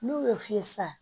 N'u y'o f'i ye sa